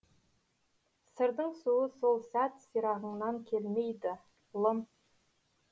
сырдың суы сол сәт сирағыңнан келмейді ұлым